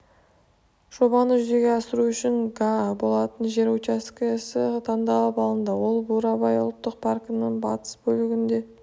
жобаны жүзеге асыру үшін га болатын жер учаскесі таңдалып алынды ол бурабай ұлттық паркінің батыс бөлігінде